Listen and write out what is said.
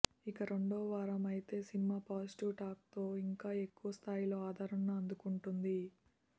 ఇక రెండవవారం అయితే సినిమా పాజిటివ్ టాక్ తో ఇంకా ఎక్కువ స్థాయిలో ఆదరణను అందుకుంటోంది